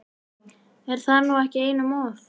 Er það nú ekki einum of?